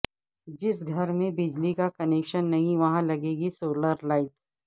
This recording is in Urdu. جس گھر میں بجلی کا کنکشن نہیں وہاں لگے گی سولر لائٹ